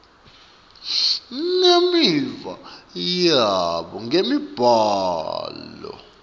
nemiva yabo ngemibhalo